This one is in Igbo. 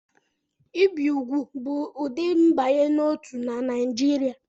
Ibi úgwù bụ ụdị mbanye n'otu na Naịjirịa